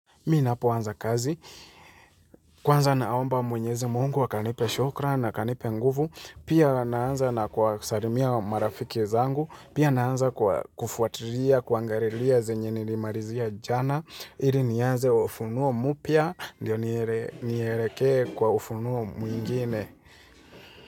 Mimi ninapoanza kazi Kwanza naomba mwenyezi Mungu anipe shukrani na anipe nguvu. Pia, naanza kwa kuwasalimia marafiki zangu. Pia, naanza kufuatilia na kuangalia nilichomalizia jana, ili nianze ufunuo mpya, ndio nielekee kwenye ufunuo mwingine.